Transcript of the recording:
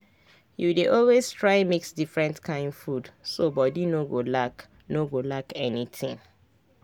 you dey always try mix different kain food so body no go lack no go lack anything.